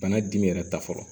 Bana dimi yɛrɛ ta fɔlɔ